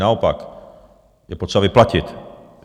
Naopak, je potřeba vyplatit.